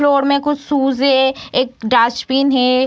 Floor मे कुछ shoes हैं एक डस्टबिन हैं।